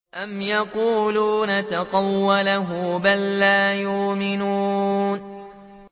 أَمْ يَقُولُونَ تَقَوَّلَهُ ۚ بَل لَّا يُؤْمِنُونَ